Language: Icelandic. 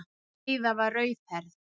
Heiða var rauðhærð.